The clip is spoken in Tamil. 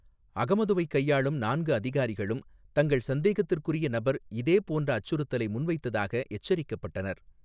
அகமதுவைக் கையாளும் நான்கு அதிகாரிகளும் தங்கள் சந்தேகத்திற்குறிய நபர் இதேபோன்ற அச்சுறுத்தலை முன்வைத்ததாக எச்சரிக்கப்பட்டனர்.